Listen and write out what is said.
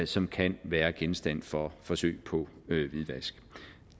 som kan være genstand for forsøg på hvidvask